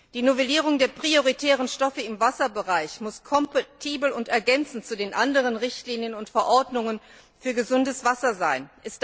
Die Novellierung der prioritären Stoffe im Wasserbereich muss kompatibel und ergänzend zu den anderen Richtlinien und Verordnungen für gesundes Wasser sein.